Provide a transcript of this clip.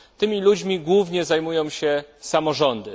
Tymi ludźmi głównie zajmują się samorządy.